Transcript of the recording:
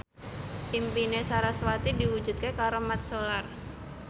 impine sarasvati diwujudke karo Mat Solar